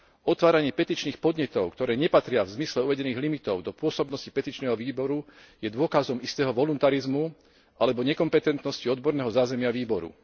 Otváranie petičných podnetov, ktoré nepatria v zmysle uvedených limitov do pôsobnosti petičného výboru, je dôkazom istého voluntarizmu alebo nekompetentnosti odborného zázemia výboru.